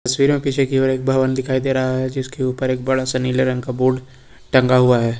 तस्वीर में पीछे की और एक भवन दिखाई दे रहा है जिसके ऊपर एक बड़ा सा नीले रंग का बोर्ड टंगा हुआ है।